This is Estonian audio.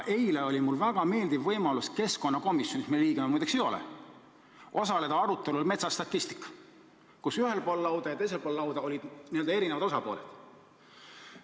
Eile oli mul väga meeldiv võimalus keskkonnakomisjonis, mille liige ma muide ei ole, osaleda metsastatistikateemalisel arutelul, kus ühel pool lauda ja teisel pool lauda olid eri osapooled.